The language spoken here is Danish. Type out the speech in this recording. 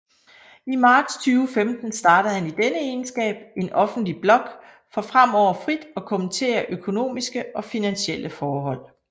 I marts 2015 startede han i denne egenskab en offentlig blog for fremover frit at kommentere økonomiske og finansielle forhold